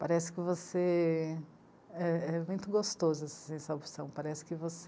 Parece que você... É, é muito gostoso opção, parece que você...